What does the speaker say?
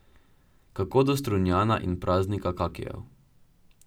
Kako do Strunjana in praznika kakijev?